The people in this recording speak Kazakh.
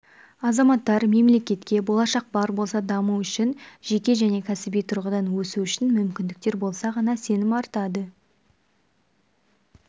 азаматтар мемлекетке болашақ бар болса даму үшін жеке және кәсіби тұрғыдан өсу үшін мүмкіндіктер болса ғана сенім артады